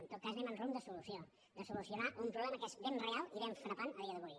en tot cas anem en rumb de solució de solucionar un problema que és ben real i ben frapant a dia d’avui